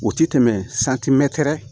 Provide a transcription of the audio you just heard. O ti tɛmɛ